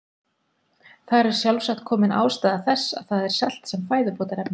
Þar er sjálfsagt komin ástæða þess að það er selt sem fæðubótarefni.